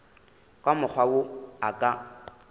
ka mokgwa wo a ka